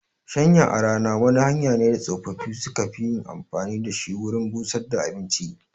Shanya a rana wani hanya ne da tsofaffi su ka fi yin amfani da shi wurin busar da abinci